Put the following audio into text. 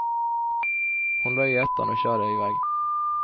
Hon lade i ettan och körde iväg.